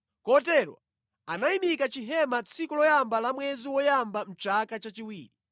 Kotero anayimika chihema tsiku loyamba la mwezi woyamba mʼchaka chachiwiri.